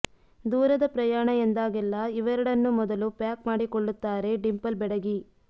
ದೂರದ ಪ್ರಯಾಣ ಎಂದಾಗೆಲ್ಲ ಇವೆರಡನ್ನು ಮೊದಲು ಪ್ಯಾಕ್ ಮಾಡಿಕೊಳ್ಳುತ್ತಾರೆ ಡಿಂಪಲ್ ಬೆಡಗಿ